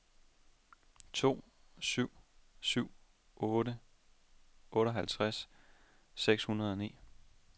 to syv syv otte otteoghalvtreds seks hundrede og ni